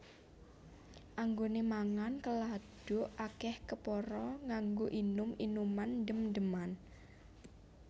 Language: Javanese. Anggone mangan keladuk akeh kepara nganggo inum inuman ndem ndeman